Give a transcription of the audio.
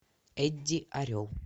эдди орел